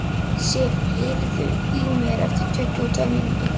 Sif, heyrðu í mér eftir tuttugu og tvær mínútur.